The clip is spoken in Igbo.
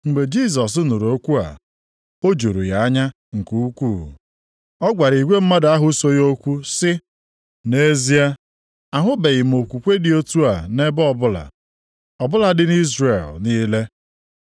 Mgbe Jisọs nụrụ okwu a, o juru ya anya nke ukwuu. Ọ gwara igwe mmadụ ahụ so ya okwu sị, “Nʼezie, ahụbeghị m okwukwe dị otu a ebe ọbụla; ọ bụladị nʼIzrel niile.